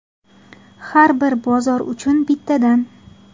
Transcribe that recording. Har bir bozor uchun bittadan.